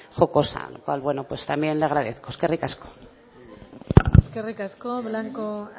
jocosa bueno pues también le agradezco eskerrik asko eskerrik asko blanco